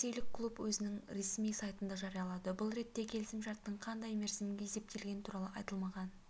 ресейлік клуб өзінің ресми сайтында жариялады бұл ретте келісім шарттың қандай мерзімге есептелгені туралы айтылмаған